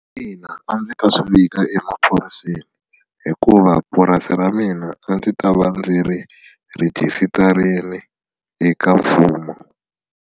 Ina a ndzi ta swi vika emaphoriseni hikuva purasi ra mina a ndzi ta va ndzi ri rhejisitarile eka mfumo.